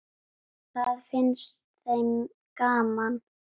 Það fannst þeim gaman.